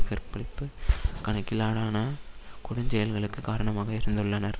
கற்பழிப்பு கணக்கிலாடான கொடுஞ் செயல்களுக்கு காரணமாக இருந்துள்ளனர்